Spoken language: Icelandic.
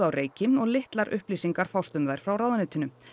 á reiki og litlar upplýsingar fást um þær frá ráðuneytinu